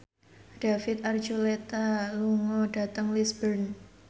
David Archuletta lunga dhateng Lisburn